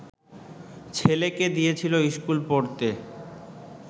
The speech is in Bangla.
ছেলেকে দিয়েছিল স্কুল পড়তে